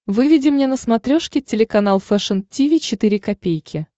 выведи мне на смотрешке телеканал фэшн ти ви четыре ка